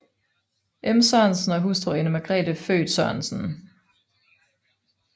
M Sørensen og hustru Ane Margrethe født Sørensen